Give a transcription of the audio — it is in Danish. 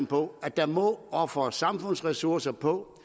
på at der må ofres samfundsressourcer på